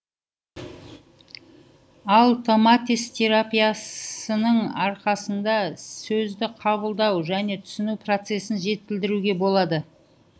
ал томатис терапиясының арқасында сөзді қабылдау және түсіну процесін жетілдіруге болады